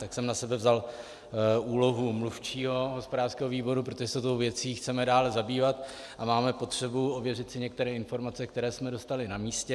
Tak jsem na sebe vzal úlohu mluvčího hospodářského výboru, protože se tou věcí chceme dále zabývat a máme potřebu ověřit si některé informace, které jsme dostali na místě.